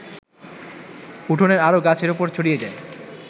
উঠোনের আরও গাছের ওপর ছড়িয়ে যায়